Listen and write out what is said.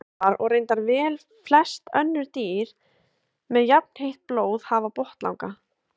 apar og reyndar velflest önnur dýr með jafnheitt blóð hafa botnlanga